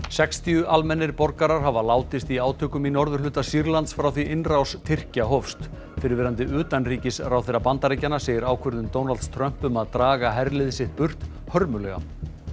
sextíu almennir borgarar hafa látist í átökum í norðurhluta Sýrlands frá því innrás Tyrkja hófst fyrrverandi utanríkisráðherra Bandaríkjanna segir ákvörðun Trumps um að draga herlið sitt burt hörmulega